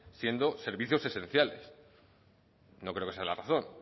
siendo servicios esenciales no creo que sea la razón